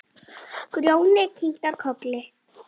Grjóni kinkar kolli.